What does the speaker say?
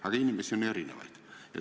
Aga inimesi on erinevaid.